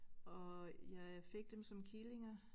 Og jeg fik dem som killinger